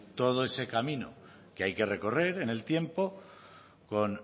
todo ese camino que hay que recorrer en el tiempo con